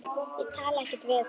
Ég talaði ekkert við hann.